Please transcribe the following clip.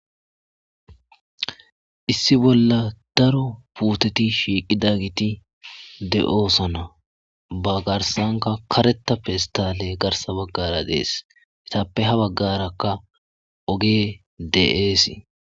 issi bolla daro puuteti shiiqidaget de7oosona ba garsanka karetappe istale garsa baggara dees itappe ha baggarakka ogey de7eesii